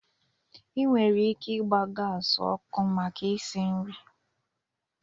E nwere ike ịgba gas ọkụ maka isi nri